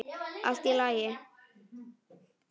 Allt í allt.